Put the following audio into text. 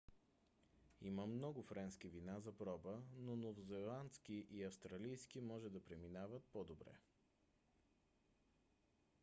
има много френски вина за проба но новозеландски и австралийски може да преминават по - добре